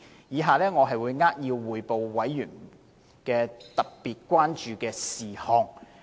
以下我會扼要匯報委員特別關注的事項。